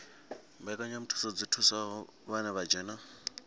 mbekanyamushumo dzi thusaho vha dzhenaho